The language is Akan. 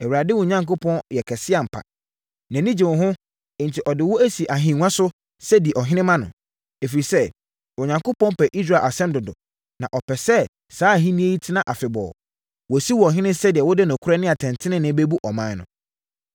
Awurade, wo Onyankopɔn yɛ kɛse ampa. Nʼani gye wo ho, enti ɔde wo asi ahennwa so sɛ di ɔhene ma no. Ɛfiri sɛ, Onyankopɔn pɛ Israel asɛm dodo, na ɔpɛ sɛ saa ahennie yi tena afebɔɔ; wasi wo ɔhene sɛdeɛ wode nokorɛ ne atɛntenenee bɛbu ɔman no.”